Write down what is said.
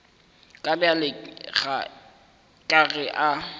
ka bjale ka ge a